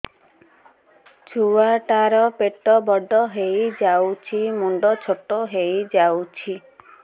ଛୁଆ ଟା ର ପେଟ ବଡ ହେଇଯାଉଛି ମୁଣ୍ଡ ଛୋଟ ହେଇଯାଉଛି